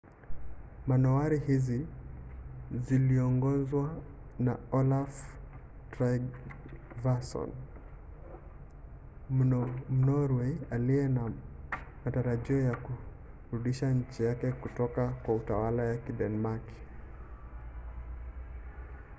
manowari hizi ziliongozwa na olaf trygvasson mnorwei aliye na matarajio ya kurudisha nchi yake kutoka kwa utawala wa kidenmaki